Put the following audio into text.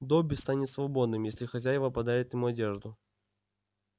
добби станет свободным если хозяева подарят ему одежду